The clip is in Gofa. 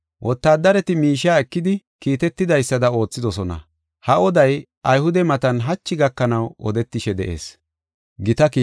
Wotaaddareti miishiya ekidi, kiitetidaysada oothidosona. Ha oday Ayhude matan hachi gakanaw odetishe de7ees.